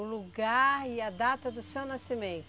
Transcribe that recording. O lugar e a data do seu nascimento.